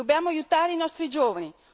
Dobbiamo aiutare i nostri giovani.